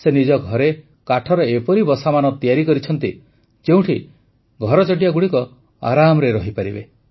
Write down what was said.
ସେ ନିଜ ଘରେ କାଠର ଏପରି ବସାମାନ ତିଆରି କରିଛନ୍ତି ଯେଉଁଠି ଘରଚଟିଆଗୁଡ଼ିକ ଆରାମରେ ରହିପାରିବେ